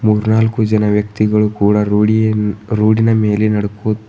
ಮೂರ್ನಾಲ್ಕು ಜನ ವ್ಯಕ್ತಿಗಳು ಕೂಡ ರೋಡಿಯನ್ ರೋಡ್ ಮೇಲೆ ನಡ್ಕೋ--